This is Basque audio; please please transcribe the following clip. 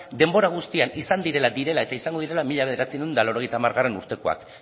denbora guztian izan direla direla eta izango direla mila bederatziehun eta laurogeita hamargarrena urtekoak